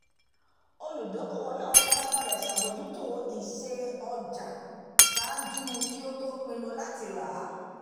olùdókòwò náà farabalẹ̀ ṣàbójútó ìṣe ọjà ṣáájú kí ó tó pinnu láti rà á